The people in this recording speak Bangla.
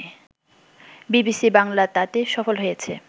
বিবিসি বাংলা তাতে সফল হয়েছে